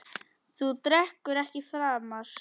Þú drekkur ekki framar.